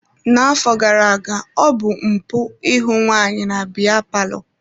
Na-afọ gara-aga ọ bụ mpụ ị hụ nwaanyị na biya palọ.